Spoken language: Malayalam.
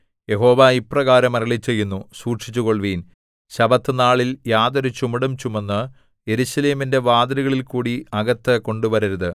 യഹോവ ഇപ്രകാരം അരുളിച്ചെയ്യുന്നു സൂക്ഷിച്ചുകൊള്ളുവിൻ ശബ്ബത്തുനാളിൽ യാതൊരു ചുമടും ചുമന്ന് യെരൂശലേമിന്റെ വാതിലുകളിൽകൂടി അകത്ത് കൊണ്ടുവരരുത്